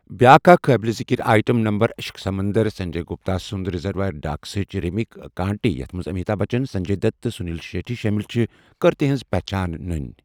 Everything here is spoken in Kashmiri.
بیاکھ اکھ قٲبل ذکر آئٹم نمبر 'عشق سمندر'، سنجے گپتا سنٛد 'ریزروائر ڈاگسٕچ' ریمیک 'کانٹے' یتھ منٛز امیتابھ بچن، سنجے دت، تہٕ سنیل شیٹی شٲمِل چھِ، کٔر تہنٛز پہچان نٕنۍ۔